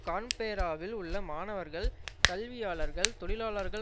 கான்பேராவில் உள்ள மாணவர்கள் கல்வியாளர்கள் தொழிலாளர்கள்